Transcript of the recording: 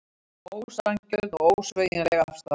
Ósanngjörn og ósveigjanleg afstaða